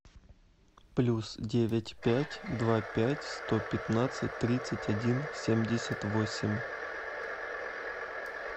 плюс девять пять два пять сто пятнадцать тридцать один семьдесят восемь